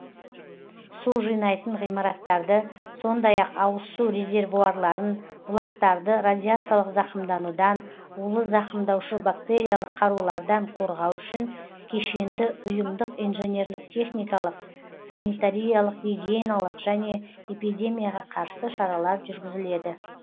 су жинайтын ғимараттарды сондай ақ ауыз су резервуарларын бұлақтарды радиациялық зақымданудан улы зақымдаушы бактериялық қарулардан қорғау үшін кешенді ұйымдық инженерлік техникалық санитариялық гигиеналық және эпидемияға қарсы шаралар жүргізіледі